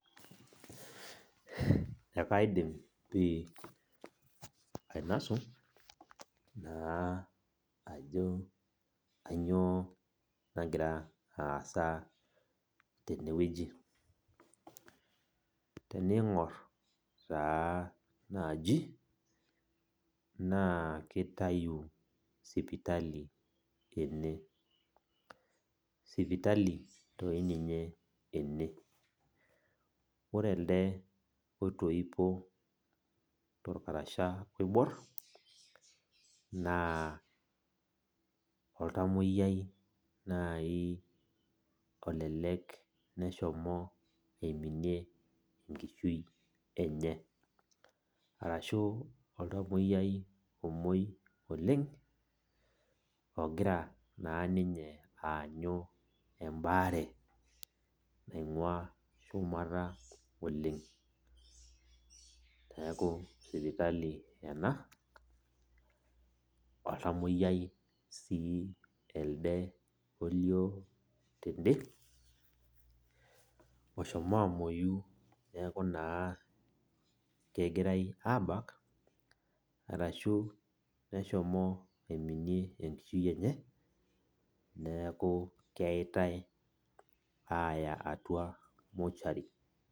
Ekaidim pi ainasu naa ajo kanyioo nagira aasa tenewueji. Tening'or taa naaji, naa kitayu sipitali ene. Sipitali toi ninye ene. Ore elde oitoipo torkarasha oibor, naa oltamoyiai nai olelek neshomo aiminie enkishui enye. Arashu oltamoyiai omoi oleng, ogira naa ninye aanyu ebaare naing'ua shumata oleng. Neeku sipitali ena, oltamoyiai si elde olio tede, oshomo amoyu neeku naa kegirai abak, arashu neshomo aiminie enkishui enye, neeku keeitai aya atua mortuary.